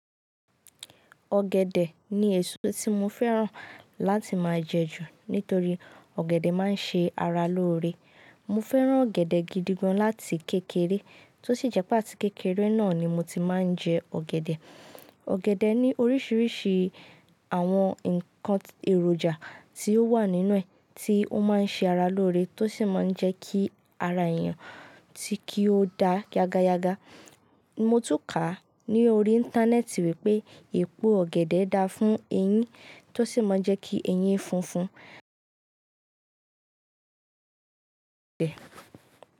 Ọ̀gẹ̀dẹ̀ ni èso tí mo fẹ́ràn láti máa jẹ ju, nítorí ọ̀gẹ̀dẹ̀ máa ń ṣe ara lóore. Mo fẹ́ràn ọ̀gẹ̀dẹ̀ gidi gan láti kékeré tó sì jẹ́ pé àti kékeré náà ni mo ti máa ń jẹ ọ̀gẹ̀dẹ̀. Ọ̀gẹ̀dẹ̀ ní oríṣiríṣi àwọn ǹkan èròjà tí ó wà nínú rẹ̀ tí ó máa ń ṣe ara lóore tó sì máa ń jẹ́ kí ara èèyàn kí ó da gágá. Mo tún kà á ní orí Íńtánẹ́ẹ̀tì wípé èpo ọ̀gẹ̀dẹ̀ dáa fún eyín, tó sì máa ń jẹ́ kí eyín funfun.